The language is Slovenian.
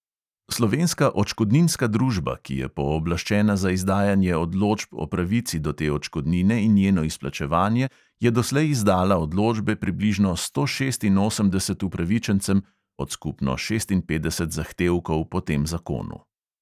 Slovenska odškodninska družba, ki je pooblaščena za izdajanje odločb o pravici do te odškodnine in njeno izplačevanje, je doslej izdala odločbe približno sto šestinosemdeset upravičencem (od skupno šestinpetdeset zahtevkov po tem zakonu).